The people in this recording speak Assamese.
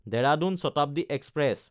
দেৰাদুন শতাব্দী এক্সপ্ৰেছ